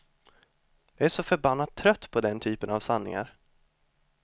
Jag är så förbannat trött på den typen av sanningar.